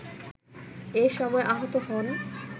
এ সময় আহত হন